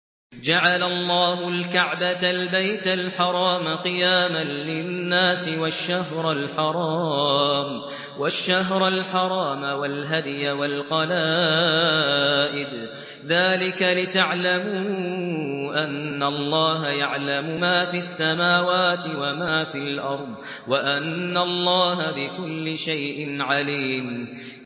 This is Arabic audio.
۞ جَعَلَ اللَّهُ الْكَعْبَةَ الْبَيْتَ الْحَرَامَ قِيَامًا لِّلنَّاسِ وَالشَّهْرَ الْحَرَامَ وَالْهَدْيَ وَالْقَلَائِدَ ۚ ذَٰلِكَ لِتَعْلَمُوا أَنَّ اللَّهَ يَعْلَمُ مَا فِي السَّمَاوَاتِ وَمَا فِي الْأَرْضِ وَأَنَّ اللَّهَ بِكُلِّ شَيْءٍ عَلِيمٌ